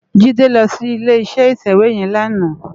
Jide lò si ilé iṣè iṣéwé yèn làná